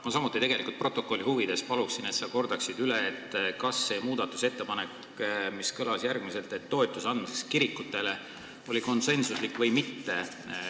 Ma palun tegelikult stenogrammi täpsuse huvides, et sa kordaksid üle, kas muudatusettepanek kirikutele toetust anda sai konsensusliku heakskiidu või mitte.